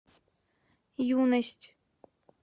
юность